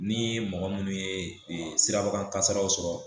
Ni mɔgɔ minnu ye sirabakan kasaraw sɔrɔ.